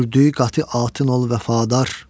Sürdü qatı ol Vəfadar.